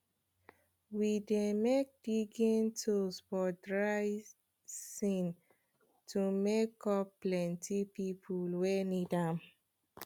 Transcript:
we dey make digging tools for dry sean to meet up plenty people wey need am